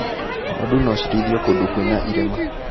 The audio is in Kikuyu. Ng'ondu nocirĩithio kũndũ kwĩna irĩma.